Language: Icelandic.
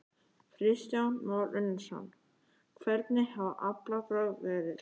Kristján Már Unnarsson: Hvernig hafa aflabrögð verið?